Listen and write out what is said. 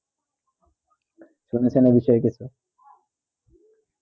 শুনেছে না বিষয়ে এই ক্ষেত্র